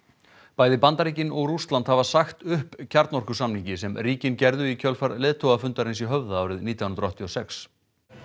bæði Bandaríkin og Rússland hafa sagt upp kjarnorkusamningi sem ríkin gerðu í kjölfar leiðtogafundarins í Höfða árið nítján hundruð áttatíu og sex